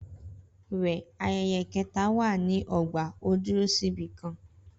Rẹ ayẹyẹ keta wà ni ọgba o duro si ibikan